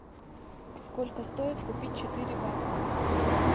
сколько стоит купить четыре баксов